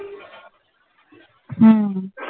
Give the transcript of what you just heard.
হুম